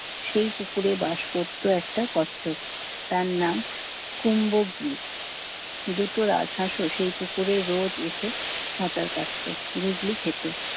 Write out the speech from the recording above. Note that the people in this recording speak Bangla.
সেই পুকুরে বাস করত একটা কচ্ছপ। তার নাম কুম্ভগ্রিত। দুটো রাজহাসও সেই পুকুরে রোজ এসে সাঁতার কাটত, বুগলি খেতো।